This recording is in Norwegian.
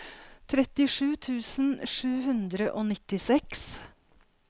trettisju tusen sju hundre og nittiseks